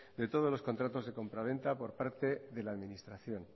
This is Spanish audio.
de todos los contratos de compraventa por parte de la administración